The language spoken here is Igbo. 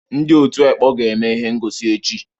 Ndị ọ̀tú ekpọ ga-eme ihe ngọsi echi.